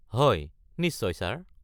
হয়, নিশ্চয় ছাৰ।